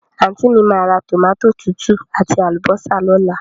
Àntí mi máa ra tòmátò tútù àti àlùbọ́sà lóla